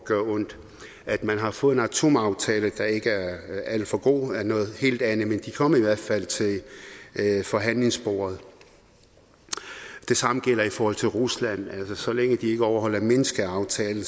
gøre ondt at man har fået en atomaftale der ikke er alt for god er noget helt andet men de kom i hvert fald til forhandlingsbordet det samme gælder i forhold til rusland så længe de ikke overholder minskaftalen